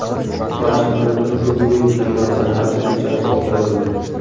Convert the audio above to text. Vashingtonda o‘zbek kino san’ati kechasi o‘tkazildi.